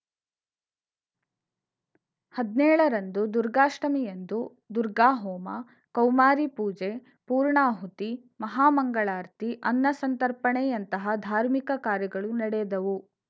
ಹದ್ನೇಳ ರಂದು ದುರ್ಗಾಷ್ಠಮಿಯಂದು ದುರ್ಗಾಹೋಮ ಕೌಮಾರಿಪೂಜೆ ಪೂರ್ಣಾಹುತಿ ಮಹಾಮಂಗಳಾರತಿ ಅನ್ನ ಸಂತರ್ಪಣೆಯಂತಹ ಧಾರ್ಮಿಕ ಕಾರ್ಯಗಳು ನಡೆದವು